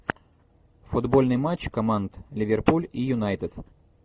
футбольный матч команд ливерпуль и юнайтед